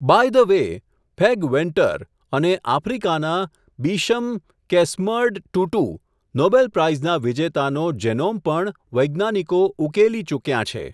By the way, ફૅગ Venter, અને, આફ્રિકાનાં, bishop, Desmond Tutu, Nobel prize વિજેતાનો, જેનોમ પણ, વૈજ્ઞાનિકો, ઉકેલી ચુક્યાં છે.